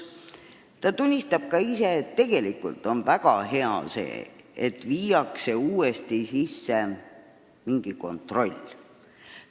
Ta tunnistas, et tegelikult on väga hea, et uuesti kehtestatakse mingi kontroll.